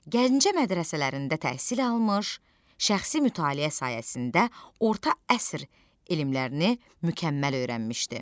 Gəncə mədrəsələrində təhsil almış, şəxsi mütaliə sayəsində orta əsr elmlərini mükəmməl öyrənmişdi.